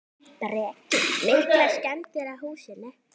Breki: Miklar skemmdir á húsinu?